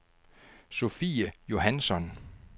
Sophie Johansson